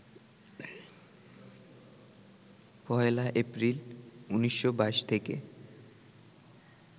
১লা এপ্রিল, ১৯২২ থেকে